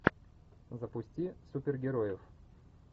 запусти супергероев